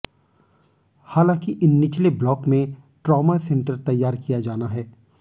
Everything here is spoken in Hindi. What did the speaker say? हालांकि इन निचले ब्लाॅक में ट्रामा सेंटर तैयार किया जाना है